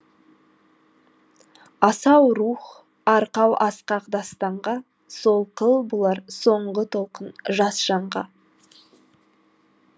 асау рух арқау асқақ дастанға солқыл болар соңғы толқын жас жанға